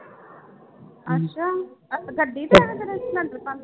ਅੱਛਾ ਗੱਡੀ ਤੇ ਆਏ ਫਿਰ ਸਿਲੈਂਡਰ ਭਰਨ